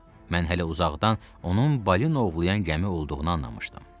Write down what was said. Mən hələ uzaqdan onun balina ovlayan gəmi olduğunu anlamışdım.